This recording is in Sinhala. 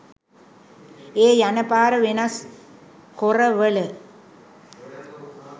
ඒ යන පාර වෙනස් කොරවල